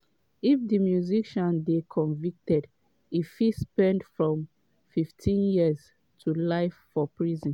if di musician dey convicted e fit spend from 15 years to life for prison.